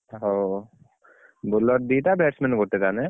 ହଉ bowler ଦିଟା batsman ଗୋଟେ ତାମାନେ,